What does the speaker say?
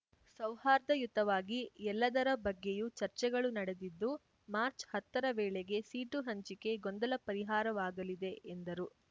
ಸೌಹಾರ್ದಯುತವಾಗಿ ಎಲ್ಲದರ ಬಗ್ಗೆಯೂ ಚರ್ಚೆಗಳು ನಡೆದಿದ್ದು ಮಾರ್ಚ್ ಹತ್ತ ರ ವೇಳೆಗೆ ಸೀಟು ಹಂಚಿಕೆ ಗೊಂದಲ ಪರಿಹಾರವಾಗಲಿದೆ ಎಂದರು